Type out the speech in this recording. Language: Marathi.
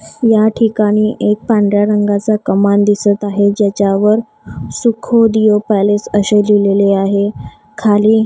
या ठिकाणी एक पांढऱ्या रंगाचा कमान दिसतं आहे ज्याच्यावर सुख दियो पॅलेस अशे लिहिलेले आहे खाली--